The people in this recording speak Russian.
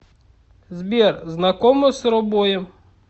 сбер знакома с робоем